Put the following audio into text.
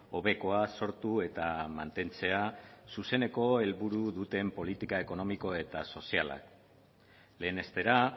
hobekoa sortu eta mantentzea zuzeneko helburu duten politika ekonomiko eta sozialak lehenestera